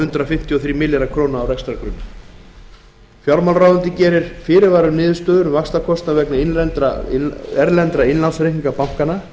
fimmtíu og þrír milljarðar króna á rekstrargrunni fjármálaráðuneytið gerir fyrirvara um niðurstöður um vaxtakostnað vegna erlendra innlánsreikninga bankanna